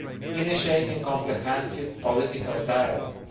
initiating comprehensive political dialogue